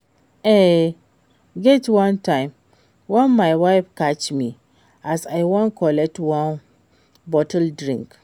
E get wan time wen my wife catch me as I wan collect one bottle drink